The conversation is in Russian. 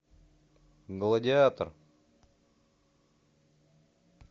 гладиатор